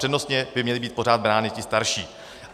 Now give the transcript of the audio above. Přednostně by měly být pořád brány ty starší.